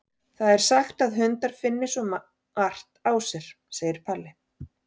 Það er sagt að hundar finni svo margt á sér, segir Palli.